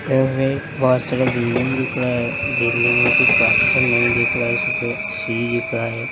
एहमें बहुत सारा बिल्डिंग दिख रहा है बिल्डिंग में कोई कन्स्ट्रक्शन नही दिख रहा है सीढ़ी दिख रहा है।